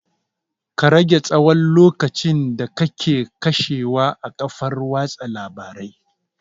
Ka rage tsahon lokacin da kake kashewa a kafar watsa labarai